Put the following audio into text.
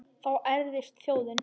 Þá ærðist þjóðin.